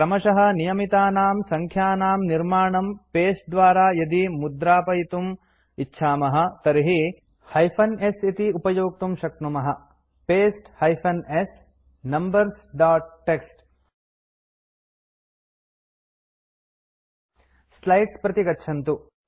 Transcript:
क्रमशः नियमितानां सङ्ख्यानां निर्माणं पस्ते द्वारा यदि मुद्रापयितुमिच्छामः तर्हि paste hyphen s numbers dot TXT slides प्रति गच्छन्तु